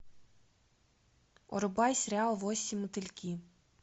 врубай сериал восемь мотыльки